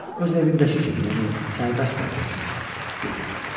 Öz evindəki kimi, yəni sərbəst ol qoçum, dedi.